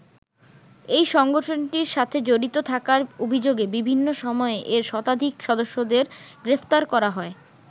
এই সংগঠনটির সাথে জড়িত থাকার অভিযোগে বিভিন্ন সময়ে এর শতাধিক সদস্যকে গ্রেপ্তার করা হয়।